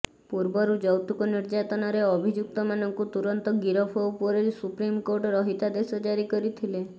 ପୂର୍ବରୁ ଯୌତୁକ ନିର୍ଯାତନାରେ ଅଭିଯୁକ୍ତମାନଙ୍କୁ ତୁରନ୍ତ ଗିରଫ ଉପରେ ସୁପ୍ରିମକୋର୍ଟ ରହିତାଦେଶ ଜାରି କରିଥିଲେ